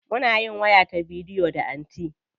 Muna yin waya ta bidiyo da anty.